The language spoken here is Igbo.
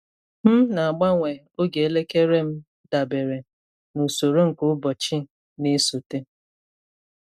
M na-agbanwe oge elekere m dabere n’usoro nke ụbọchị na-esote.